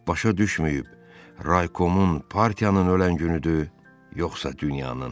Başa düşməyib, raykomun partiyanın ölən günüdü, yoxsa dünyanın?